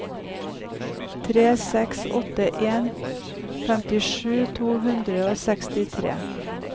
tre seks åtte en femtisju to hundre og sekstitre